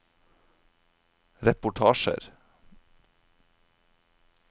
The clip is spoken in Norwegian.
reportasjer